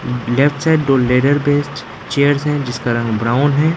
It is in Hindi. लेफ्ट साइड दो लेटर बेस्ट चेयर्स जिसका रंग ब्राउन है।